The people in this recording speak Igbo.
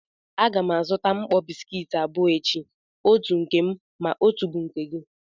A ga m azụta mkpọ bisikiiti abụọ echi, otu bu nke m ma otu bu nke gị.